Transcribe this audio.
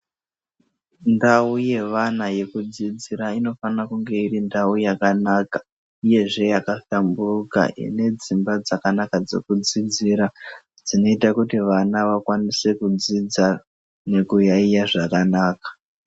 Ndau yevana yekudzidzira inofana kunge iri ndau yakanaka uyezve yaka hlamburuka ine dzimba dzakanaka dzekudzidzira dzinoita kuti vana vakwanise kudzidza nekuyaiya zvakanaka.